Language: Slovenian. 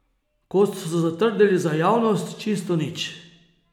Kot so zatrdili za javnost, čisto nič.